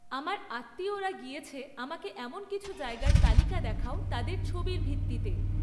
আমার আত্মীয়রা গিয়েছে আমাকে এমন কিছু জায়গার তালিকা দেখাও তাদের ছবির ভিত্তিতে